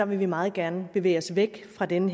vil vi meget gerne bevæge os væk fra den